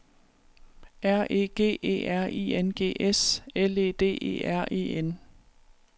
R E G E R I N G S L E D E R E N